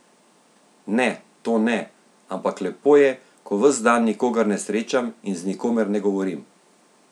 Ne, to ne, ampak lepo je, ko ves dan nikogar ne srečam in z nikomer ne govorim.